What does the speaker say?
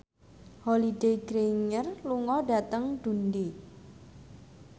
Holliday Grainger lunga dhateng Dundee